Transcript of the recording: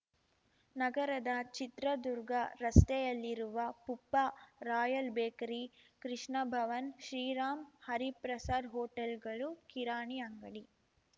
ನಗರದ ಚಿತ್ರದುರ್ಗ ರಸ್ತೆಯಲ್ಲಿರುವ Puppa royal bakery Krishnabhavan Sriram Hariprasad ಹೋಟೆಲ್‌ಗಳು ಕಿರಾಣಿ ಅಂಗಡಿ